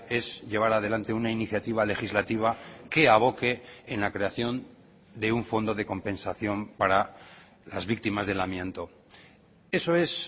es llevar adelante una iniciativa legislativa que aboque en la creación de un fondo de compensación para las víctimas del amianto eso es